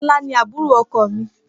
Fọlá ní àbúrò ọkùnrin.